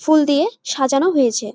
ফুল দিয়ে সাজানো হয়েছে ।